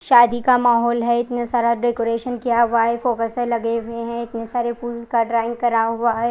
शादी का माहोल है वहां पर इतने सारे डेकोरेशन किया हुआ है फॉक्स से लगे हुए है इतने सारे फुल के ट्रंक कर रहा है।